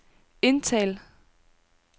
indtal